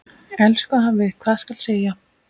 Elsku afi, hvað skal segja.